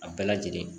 A bɛɛ lajɛlen